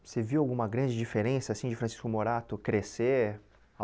Você viu alguma grande diferença assim de Francisco Morato crescer?